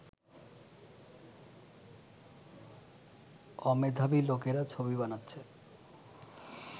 অমেধাবী লোকেরা ছবি বানাচ্ছে